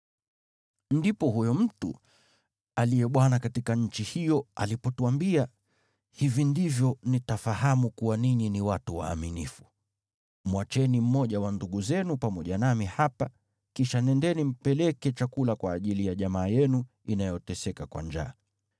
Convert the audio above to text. “Ndipo huyo mtu aliye bwana katika nchi hiyo alipotuambia, ‘Hivi ndivyo nitafahamu kuwa ninyi ni watu waaminifu: Mwacheni mmoja wa ndugu zenu pamoja nami hapa, kisha nendeni mpeleke chakula kwa ajili ya jamaa yenu inayoteseka kwa njaa.